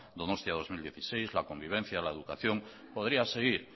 donostia dos mil dieciséis la convivencia la educación etcétera podría seguir